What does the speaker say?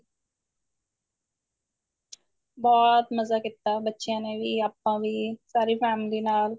ਬਹੁਤ ਮਜ਼ਾ ਕੀਤਾ ਬੱਚਿਆਂ ਨੇ ਵੀ ਆਪਾਂ ਵੀ ਸਾਰੀ family ਨਾਲ